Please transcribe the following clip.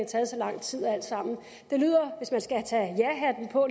taget så lang tid alt sammen at det lyder